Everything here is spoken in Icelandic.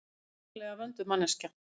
Feiknalega vönduð manneskja.